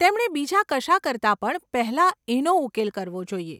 તેમણે બીજા કશા કરતા પણ પહેલાં એનો ઉકેલ કરવો જોઈએ.